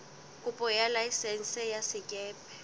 kopo ya laesense ya sekepe